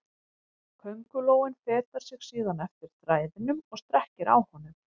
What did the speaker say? Köngulóin fetar sig síðan eftir þræðinum og strekkir á honum.